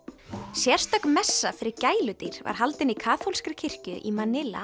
sérstök messa fyrir gæludýr var haldin í kaþólskri kirkju í